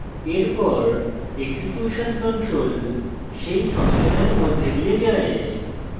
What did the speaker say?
এরপর execution control সেই ফাংশনের মধ্যে দিয়ে যায়